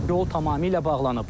Yol tamamilə bağlanıb.